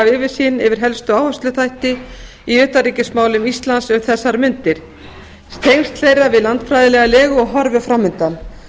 yfirsýn yfir helstu áhersluþætti í utanríkismálum íslands um þessar mundir tengsl þeirra við landfræðilega legu og horfur framundan